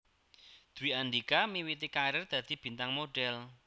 Dwi Andhika miwiti karir dadi bintang modhél